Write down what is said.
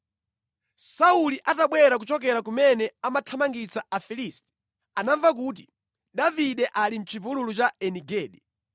Sauli atabwera kuchokera kumene amathamangitsa Afilisti anamva kuti, “Davide ali mʼchipululu cha Eni Gedi.”